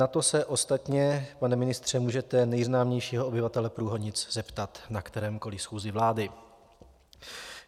Na to se ostatně, pane ministře, můžete nejznámějšího obyvatele Průhonic zeptat na kterékoliv schůzi vlády.